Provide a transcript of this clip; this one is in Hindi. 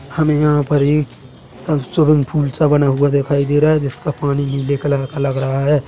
हमे यहाँ पर एक कल्चरल पूल सा बना हुआ दिखाई दे रहा है जिसका पानी नीले कलर का लग रहा है।